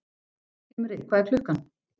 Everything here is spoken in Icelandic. Himri, hvað er klukkan?